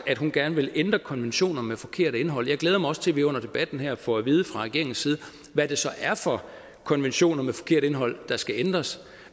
at hun gerne vil ændre konventioner med forkert indhold jeg glæder mig også til at vi under debatten her får at vide fra regeringens side hvad det så er for konventioner med forkert indhold der skal ændres